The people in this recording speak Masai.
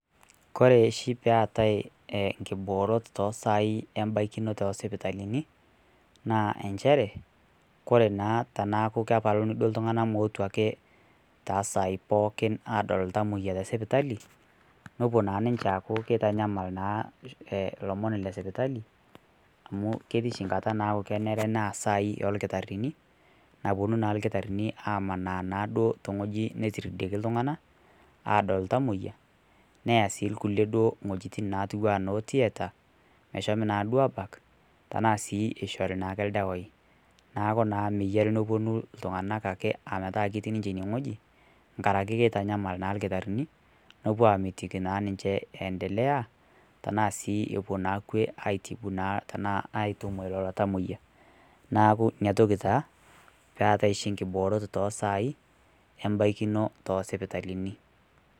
Koree oshii peetai nkiboot osaai embaikino oosipitalini naa inchere kore naa teneeku kepalikini iltung'anak meetu ake tosaai pooki adol iltung'anak tesipitali nepuo ninche aaku keitanyamal naa ilomon lesipitali ketii oshi nkata neeku kenare neas isai oorkitarini napuonu naa irkitarini amanaa naaduo tewueeji netiridieki iltung'anak aadol iltamoyia neya sii irkulie wuejitin naatiu enaa noo theater meshomi naaduo aabak tenaa sii eishori naaduo ildawai neeku naa meyiari nepuonu iltung'anak ake ometaa ketii siininye inewueji nkaraki keitanyamal naa irkitarini nepuo aamitiki naa ninche eendelea tenaa sii epuo naa kwe epuo atiimu lelo tamoyia neeku inatoki taa peetai oshi nkiboorot oosaai embaikino toosipitalini.